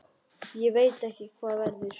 Ég veit ekki hvað verður.